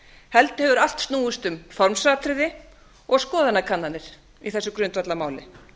heldur hefur allt snúist um formsatriði og skoðanakannanir í þessu grundvallarmáli